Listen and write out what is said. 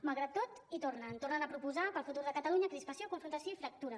malgrat tot hi tornen tornen a proposar per al futur de catalunya crispació confrontació i fractura